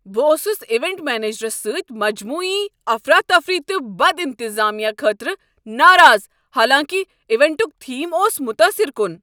بہٕ اوسس ایونٹ منیجرس سٕتۍ مجموعی افراتفری تہٕ بد انتظامہٕ خٲطرٕ ناراض حالانکہ ایونٹک تھیم اوس متاثر کن۔